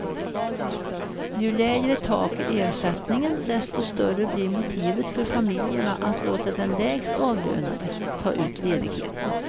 Ju lägre tak i ersättningen, desto större blir motivet för familjerna att låta den lägst avlönade ta ut ledigheten.